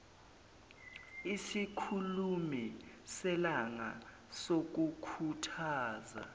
isikhulumi selanga sokukhuthaza